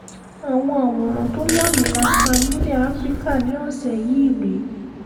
àwọn àwòrán tó lámilaaka nílẹ̀ afrika ní ọ̀sẹ̀ yìí rèé